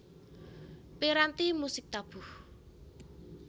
Piranti musik tabuh